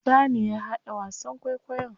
Musa ne ya haɗa wasan kwaikwayon.